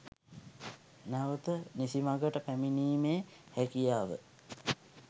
නැවැත නිසිමඟට පැමිණීමේ හැකියාව